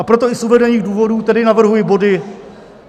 A proto i z uvedených důvodů tedy navrhuji body